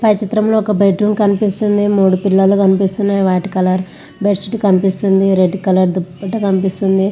పై చిత్రం లో ఒక బెడ్ రూమ్ కనిపిస్తుంది మూడు పిల్లోస్ కనిపిస్తున్నాయ్ వాటి కలర్ బెడ్ షీట్ కనిపిస్తుంది. రెడ్ కలర్ దుపట్టా కనిపిస్తుంది.